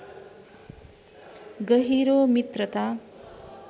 गहिरो मित्रता